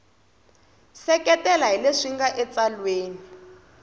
seketela hi leswi nga etsalweni